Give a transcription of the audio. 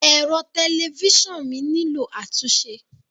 Ẹ̀rọ tẹlifíṣàn mi nílò àtúnṣe.